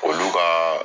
Olu ka